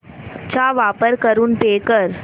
चा वापर करून पे कर